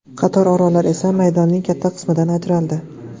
Qator orollar esa maydonining katta qismidan ajraldi.